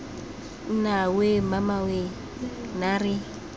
nna weee mamame weee naare